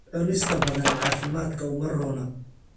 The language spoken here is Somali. Cunista badan caafimaadka uma roona.